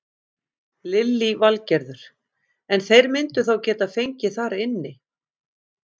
Lillý Valgerður: En þeir myndu þá geta fengið þar inni?